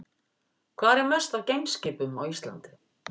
Hvar er mest af geimskipum á Íslandi?